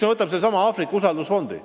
Võtame sellesama Aafrika usaldusfondi.